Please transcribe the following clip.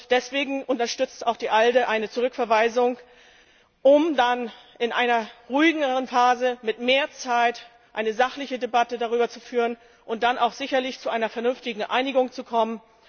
Deswegen unterstützt auch die ALDE eine Zurückverweisung, um dann in einer ruhigeren Phase mit mehr Zeit eine sachliche Debatte darüber zu führen und dann auch sicherlich zu einer vernünftigen Einigung zu kommen.